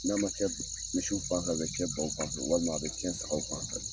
N'a ma ciɲɛn misiw fan fɛ, a bɛ ciɲɛn baw fan fɛ walima a bɛ ciɲɛn sagaw fan fɛ.